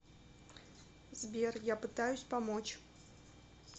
сбер я пытаюсь помочь